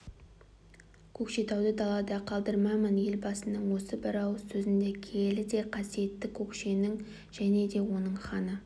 көкшетауды далада қалдырмаймын елбасының осы бір ауыз сөзінде киелі де қасиетті көкшенің және де оның ханы